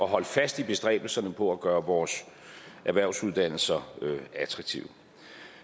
holde fast i bestræbelserne på at gøre vores erhvervsuddannelser attraktive